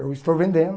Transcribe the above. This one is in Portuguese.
Eu estou vendendo.